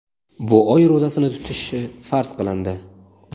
bu oy ro‘zasini tutishi farz qilindi.